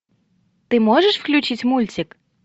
ты можешь включить мультик